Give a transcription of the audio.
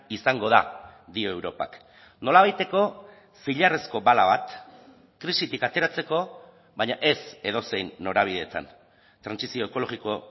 izango da dio europak nolabaiteko zilarrezko bala bat krisitik ateratzeko baina ez edozein norabidetan trantsizio ekologiko